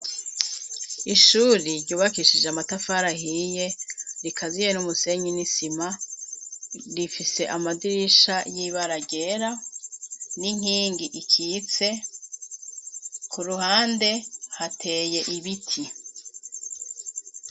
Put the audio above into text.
Ishure ryubakishije amatafari ahiye, rikaziye n'umusenyi n'isima, rifise amadirisha y'ibara ryera n'inkingi ikitse, ku ruhande hateye ibiti.